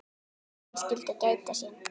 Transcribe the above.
Menn skyldu gæta sín.